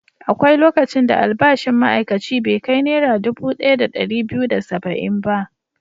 Akwai lokacin da albashin ma'aikaci bai kai Naira dubu ɗaya da ɗari biyu da saba'in ba.